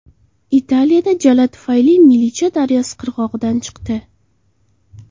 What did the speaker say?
Italiyada jala tufayli Milicha daryosi qirg‘og‘idan chiqdi.